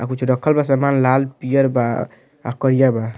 आ कुछ रखल बा। समान लाल पियर बा आ करिया बा।